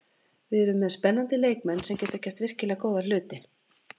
Við erum með spennandi leikmenn sem geta gert virkilega góða hluti.